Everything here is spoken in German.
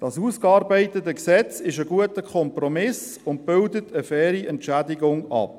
Das ausgearbeitete Gesetz ist ein guter Kompromiss und bildet eine faire Entschädigung ab.